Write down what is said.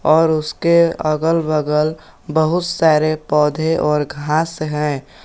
और उसके अगल बगल बहुत सारे पौधे और घास हैं।